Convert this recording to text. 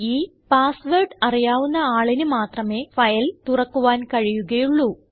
ഈ password അറിയാവുന്ന ആളിന് മാത്രമേ ഫയൽ തുറക്കുവാൻ കഴിയുകയുള്ളൂ